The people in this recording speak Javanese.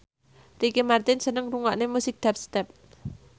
Ricky Martin seneng ngrungokne musik dubstep